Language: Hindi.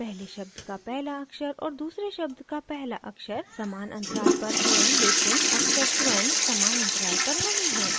पहले शब्द का पहला अक्षर और दूसरे शब्द का पहला अक्षर समान अंतराल पर हैं लेकिन अक्षर स्वयं समान अंतराल पर नहीं हैं